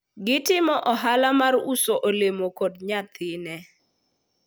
gitimo ohala mar uso olemo kod nyathine